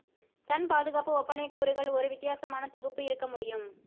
Sun பாதுகாப்பு ஒப்பனை கூறுகள் ஒரு வித்தியாசமான தொகுப்பு இருக்க முடியும்